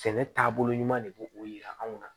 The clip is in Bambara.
Sɛnɛ taabolo ɲuman de b'o o yira anw na